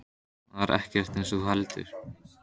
Það er ekkert eins og þú heldur.